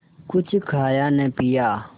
कुछ खाया न पिया